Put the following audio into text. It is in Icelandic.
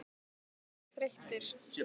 Er ég þreyttur?